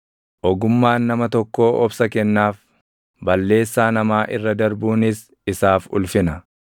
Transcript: Ogummaan nama tokkoo obsa kennaaf; balleessaa namaa irra darbuunis isaaf ulfina.